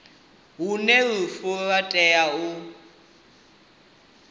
hune lufu lwa tea u